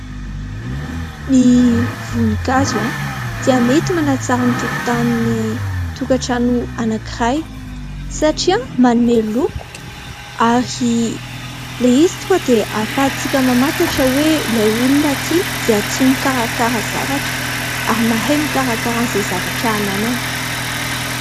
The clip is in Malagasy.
Ny voninkazo dia mety manatsara ny tokotanin'ny tokantrano anankiray satria manome loko ary ilay izy tonga dia hahafahantsika mamantatra hoe ilay olona ity dia tia mikarakara zavatra ary mahay mikarakara an'izay zavatra ananany.